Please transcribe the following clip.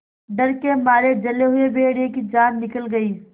डर के मारे जले हुए भेड़िए की जान निकल गई